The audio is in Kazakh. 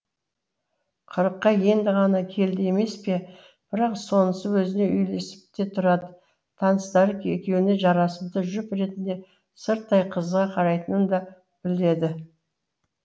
қырыққа енді ғана келді емес пе бірақ сонысы өзіне үйлесіп те тұрады таныстары екеуіне жарасымды жұп ретінде сырттай қызыға қарайтынын да біледі